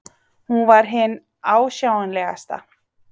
Hún var hin ásjálegasta.